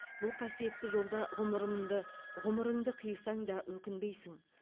бұл қасиетті жолда ғұмырымды ғұмырыңды қисаң да өкінбейсін